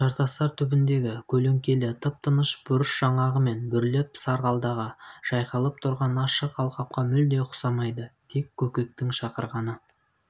жартастар түбіндегі көлеңкелі тып-тыныш бұрыш жаңағы мені бүрлеп сарғалдағы жайқалып тұрған ашық алқапқа мүлде ұқсамайды тек көкектің шақырғаны